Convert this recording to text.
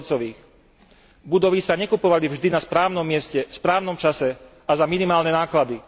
2 Budovy sa nekupovali vždy na správnom mieste, v správnom čase a za minimálne náklady.